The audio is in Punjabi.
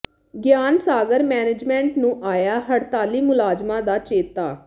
ਗਿਆਨ ਸਾਗਰ ਮੈਨੇਜਮੈਂਟ ਨੂੰ ਆਇਆ ਹੜਤਾਲੀ ਮੁਲਾਜ਼ਮਾਂ ਦਾ ਚੇਤਾ